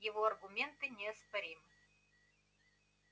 его аргументы неоспоримы